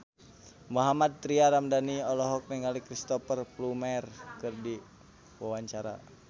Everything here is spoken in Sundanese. Mohammad Tria Ramadhani olohok ningali Cristhoper Plumer keur diwawancara